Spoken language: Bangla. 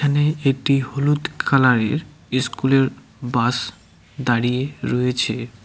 এখানে একটি হলুদ কালারের ইস্কুলের বাস দাঁড়িয়ে রয়েছে।